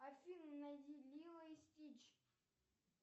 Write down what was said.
афина найди лило и стич